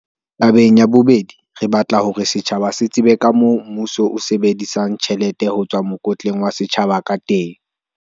"Tabeng ya bobedi, re batla hore setjhaba se tsebe kamoo mmuso o sebedisang tjhelete ho tswa mokotleng wa setjhaba ka teng."